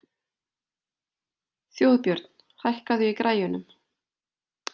Þjóðbjörn, hækkaðu í græjunum.